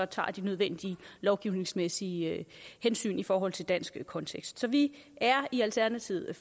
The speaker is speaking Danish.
tager de nødvendige lovgivningsmæssige hensyn i forhold til dansk kontekst så vi er i alternativet